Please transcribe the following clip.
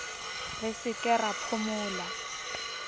re se ke ra phomola